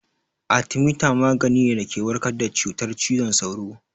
Atemita magani ne da ke warkar da cutar ciwon sauro